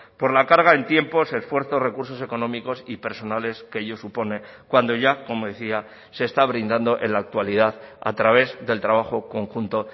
por la carga en tiempos esfuerzos recursos económicos y personales que ello supone cuando ya como decía se está brindando en la actualidad a través del trabajo conjunto